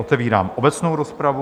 Otevírám obecnou rozpravu.